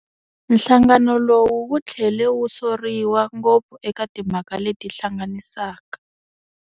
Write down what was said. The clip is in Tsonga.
Nhlangano lowu wu thlele wu soriwa ngopfu eka timhaka leti hlanganisaka.